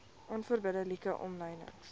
onverbidde like omlynings